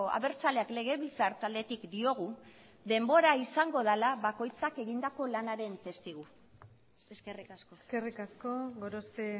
abertzaleak legebiltzar taldetik diogu denbora izango dela bakoitzak egindako lanaren testigu eskerrik asko eskerrik asko gorospe